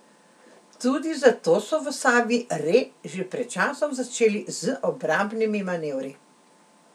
Tudi zato so v Savi Re že pred časom začeli z obrambnimi manevri.